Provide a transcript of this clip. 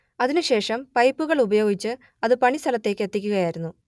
അതിനു ശേഷം പൈപ്പുകൾ ഉപയോഗിച്ച് അത് പണി സ്ഥലത്തേക്ക് എത്തിക്കുകയായിരുന്നു